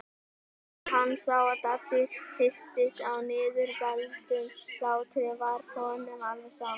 En þegar hann sá að Dadda hristist af niðurbældum hlátri varð honum alveg sama.